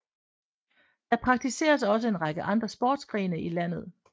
Der praktiseres også en række andre sportsgrene i landet